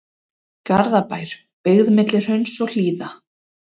Garðabær, byggð milli hrauns og hlíða.